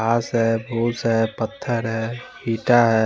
घास हैं फूस हैं पत्थर हैं ईटा हैं।